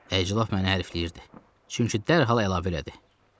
Əslində məni hərfləyirdi, çünki dərhal əlavə elədi.